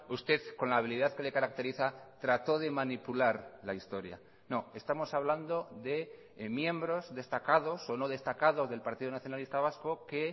usted con la habilidad que le caracteriza trató de manipular la historia no estamos hablando de miembros destacados o no destacados del partido nacionalista vasco que